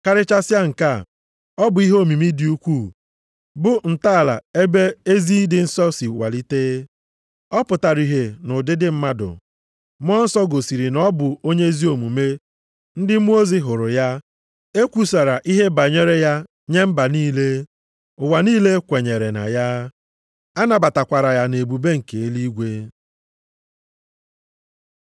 Karịchasịa nke a, ọ bụ ihe omimi dị ukwuu, bụ ntọala ebe ezi ịdị nsọ si walite: Ọ pụtara ihe nʼụdịdị mmadụ, Mmụọ Nsọ gosiri na ọ bụ onye ezi omume, ndị mmụọ ozi hụrụ ya, e kwusara ihe banyere ya nye mba niile, ụwa niile kwenyeere na ya, a nabatakwara ya nʼebube nke eluigwe.